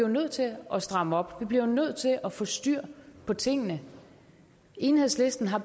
nødt til at stramme op vi bliver jo nødt til at få styr på tingene enhedslisten har